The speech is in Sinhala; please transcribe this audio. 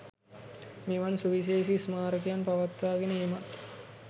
මෙවන් සුවිශේෂී ස්මාරකයන් පවත්වාගෙන ඒමත්